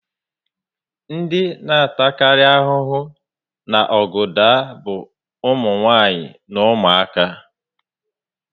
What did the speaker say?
Ndị na ata kari ahụhụ na ọgụ daa bu umunwanyi na umuaka